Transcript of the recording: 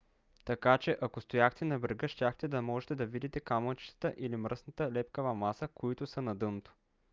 така че ако стояхте на брега щяхте да можете да видите камъчетата или мръсната лепкава маса които са на дъното